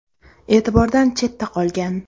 E’tibordan chetda qolgan.